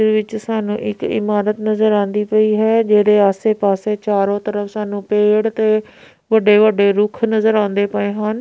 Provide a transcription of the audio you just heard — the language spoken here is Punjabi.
ਇਹਦੇ ਵਿੱਚ ਸਾਨੂੰ ਇੱਕ ਇਮਾਰਤ ਨਜ਼ਰ ਆਉਂਦੀ ਪਈ ਹੈ ਜਿਹੜੇ ਆਸੇ ਪਾਸੇ ਚਾਰੋ ਤਰਫ ਸਾਨੂੰ ਪੇੜ ਤੇ ਵੱਡੇ ਵੱਡੇ ਰੁੱਖ ਨਜ਼ਰ ਆਉਂਦੇ ਪਏ ਹਨ।